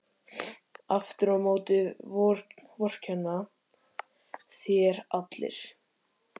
Aftur á móti vorkenna þér allir.